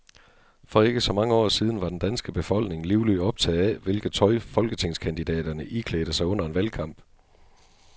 For ikke så mange år siden var den danske befolkning livligt optaget af, hvilket tøj folketingskandidaterne iklædte sig under en valgkamp.